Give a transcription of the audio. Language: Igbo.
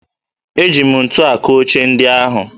Eji m ntu akụ oche ndị ahụ